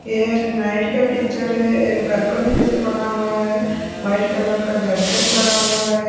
ये एक नाइट का पिक्चर है एक बालकनी जैसे बना हुआ है वाइट कलर का बैरिकेट लगा हुआ है।